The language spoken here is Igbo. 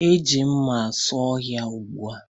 E ji mma asụ ọhịa n'ụgbọ